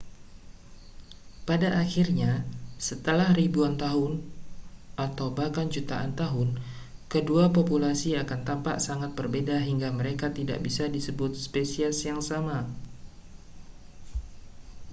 pada akhirnya setelah ribuan atau bahkan jutaan tahun kedua populasi akan tampak sangat berbeda hingga mereka tidak bisa disebut spesies yang sama